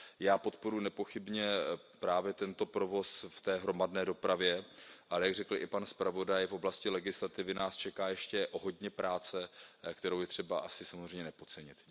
Já podporuji nepochybně právě tento provoz v té hromadné dopravě, ale jak řekl i pan zpravodaj, v oblasti legislativy nás čeká ještě hodně práce, kterou je třeba asi samozřejmě nepodcenit.